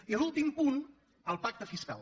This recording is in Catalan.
i l’últim punt el pacte fiscal